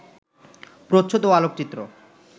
প্রচ্ছদ ও আলোকচিত্র